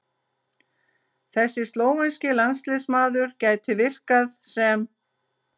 Þessi slóvenski landsliðsmaður gæti virkað sem